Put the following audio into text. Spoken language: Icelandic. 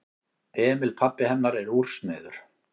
Emil pabbi hennar er úrsmiður.